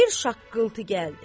Bir şaqqıltı gəldi.